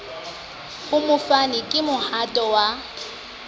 ho mofani ke mohato wa